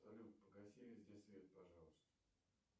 салют погаси везде свет пожалуйста